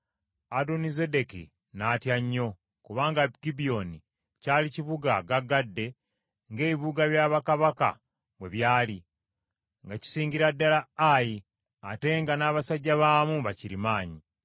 Adonizedeki n’atya nnyo kubanga Gibyoni kyali kibuga gagadde ng’ebibuga bya bakabaka bwe byali, nga kisingira ddala Ayi ate nga n’abasajja baamu bakirimaanyi.